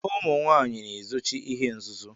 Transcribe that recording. Ụmụnwanyi na ezochi ihe nzuzo.